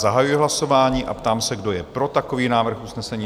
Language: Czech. Zahajuji hlasování a ptám se, kdo je pro takový návrh usnesení?